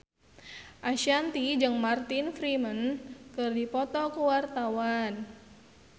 Ashanti jeung Martin Freeman keur dipoto ku wartawan